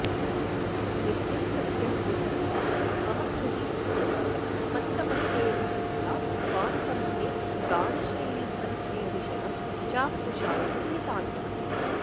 नित्यं सत्यं विधत्तां मम हृदि कुतुकं मत्तमत्तेभहन्ता स्वान्तं मे गानशैलीपरिचयविशदं चास्तु शान्तं नितान्तम्